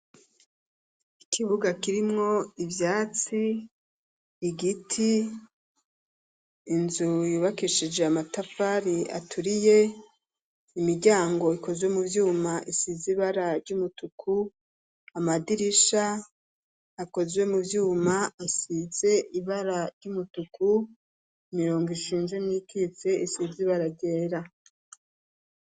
Ikibuga kirimwo ivyatsi, igiti, inzu yubakishije amatafari aturiye, imiryango ikozwe mu vyuma, isize ibara ry'umutuku, amadirisha akozwe mu vyuma, asize ibara ry'umutuku, imirongo ishinze mw'ikitse isize ibara ryera.